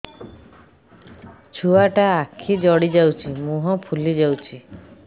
ଛୁଆଟା ଆଖି ଜଡ଼ି ଯାଉଛି ମୁହଁ ଫୁଲି ଯାଉଛି